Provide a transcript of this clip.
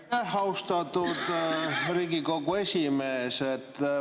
Aitäh, austatud Riigikogu esimees!